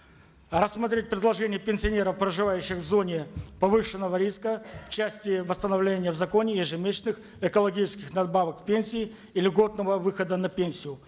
рассмотреть предложение пенсионеров проживающих в зоне повышенного риска в части восстановления в законе ежемесячных экологических надбавок к пенсии и льготного выхода на пенсию